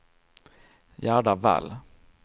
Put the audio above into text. Gerda Wall